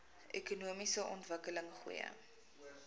ekonomiese ontwikkeling goeie